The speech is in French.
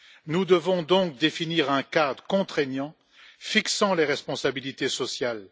Nous devons donc définir un cadre contraignant fixant les responsabilités sociales.